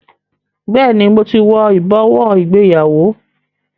Bẹẹni, mo ti wo ibowo ìgbéyàwó